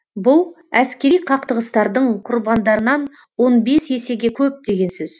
бұл әскери қақтығыстардың құрбандарынан он бес есеге көп деген сөз